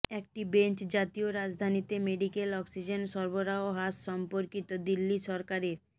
একটি বেঞ্চ জাতীয় রাজধানীতে মেডিকেল অক্সিজেন সরবরাহ হ্রাস সম্পর্কিত দিল্লি সরকারের